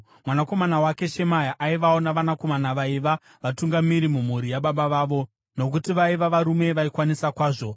Mwanakomana wake Shemaya aivawo navanakomana vaiva: vatungamiri mumhuri yababa vavo nokuti vaiva varume vaikwanisa kwazvo.